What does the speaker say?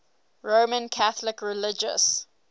roman catholic religious